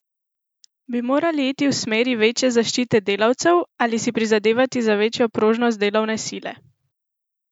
Bi morali iti v smeri večje zaščite delavcev ali si prizadevati za večjo prožnost delovne sile?